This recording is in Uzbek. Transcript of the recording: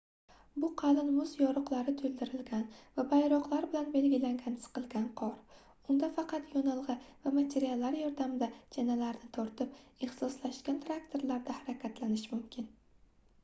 bu qalin muz yoriqlari toʻldirilgan va bayroqlar bilan belgilangan siqilgan qor unda faqat yonilgʻi va materiallar yordamida chanalarni tortib ixtisoslashgan traktorlarda harakatlanish mumkin